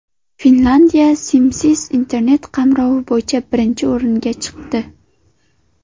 Finlyandiya simsiz Internet qamrovi bo‘yicha birinchi o‘ringa chiqdi.